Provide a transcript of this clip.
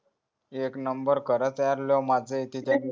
एक number खरंच यार लय मझ्या येती